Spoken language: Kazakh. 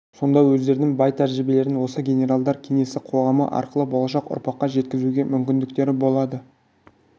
сонда өздерінің бай тәжірибелерін осы генералдар кеңесі қоғамы арқылы болшақ ұрпаққа жеткізуге мүмкіндіктері болады